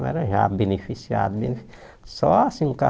Não era já beneficiado, né só assim o